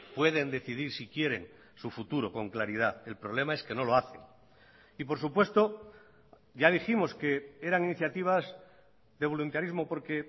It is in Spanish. pueden decidir si quieren su futuro con claridad el problema es que no lo hacen y por supuesto ya dijimos que eran iniciativas de voluntarismo porque